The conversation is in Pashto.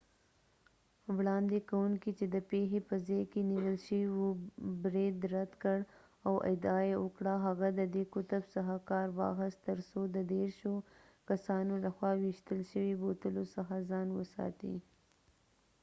وړاندې کونکی چې د پیښې په ځای کې نیول شوی و برید رد کړ او ادعا یې وکړه هغه د دې قطب څخه کار واخیست ترڅو د دیرشو کسانو لخوا ویشتل شوي بوتلو څخه ځان وساتي